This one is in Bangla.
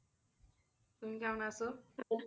তুমি কেমন আছো? "